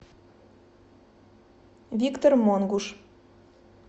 виктор монгуш